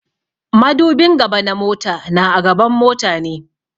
Madubin gaba na mota na a gaban mota ne.